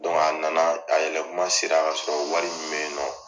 a na na a yɛlɛ kuma sera ka sɔrɔ wari min bɛ nɔn.